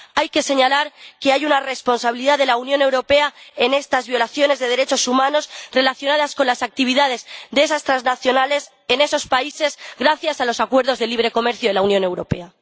Hay que señalar que hay una responsabilidad de la Unión Europea en estas violaciones de derechos humanos relacionadas con las actividades de esas transnacionales en esos países, gracias a los acuerdos de libre comercio de la Unión Europea.